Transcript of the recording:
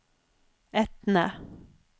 Etne